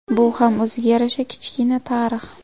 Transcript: Bu ham o‘ziga yarasha kichkina tarix.